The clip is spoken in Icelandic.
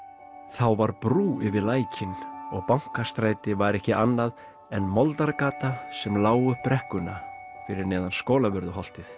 þá var brú yfir lækinn og Bankastræti var ekki annað en sem lá upp brekkuna fyrir neðan Skólavörðuholtið